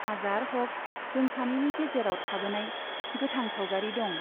हाजार हक जों सानैनि गेजेराव थाबोनाय गोथां सावगारि दं।